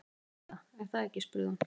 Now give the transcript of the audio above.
Þú veist það, er það ekki spurði hún.